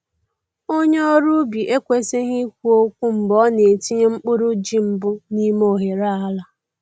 Onye ọrụ ubi ekwesịghị ikwu okwu mgbe ọ na-etinye mkpụrụ ji mbụ n’ime oghere ala.